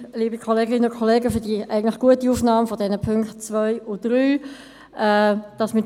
Ich danke Ihnen für die eigentlich gute Aufnahme der Punkte 2 und 3.